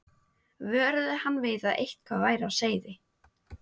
vöruðu hann við að eitthvað væri á seyði.